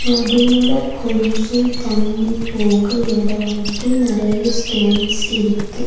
நடுவுல கொஞ்ச தண்ணி போக எடம் விட்டு நெறைய ஸ்டோன்ஸ் இருக்கு.